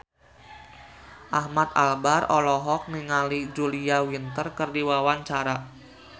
Ahmad Albar olohok ningali Julia Winter keur diwawancara